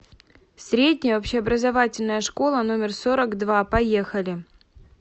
средняя общеобразовательная школа номер сорок два поехали